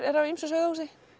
eru af ýmsu sauðahúsi